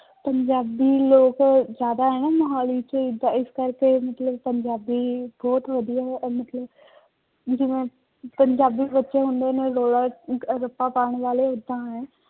ਪੰਜਾਬੀ ਲੋਕ ਜ਼ਿਆਦਾ ਹੈ ਨਾ ਮੁਹਾਲੀ ਚ ਤਾਂ ਇਸ ਕਰਕੇ ਮਤਲਬ ਪੰਜਾਬੀ ਬਹੁਤ ਵਧੀਆ ਮਤਲਬ ਵੀ ਜਿਵੇਂ ਪੰਜਾਬੀ ਬੱਚੇ ਹੁੰਦੇ ਨੇ ਰੌਲਾ ਰੱਪਾ ਪਾਉਣ ਵਾਲੇ ਏਦਾਂ ਹੈ।